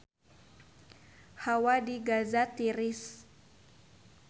Hawa di Gaza tiris